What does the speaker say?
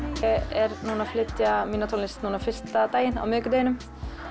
er að flytja mína tónlist núna fyrsta daginn á miðvikudeginum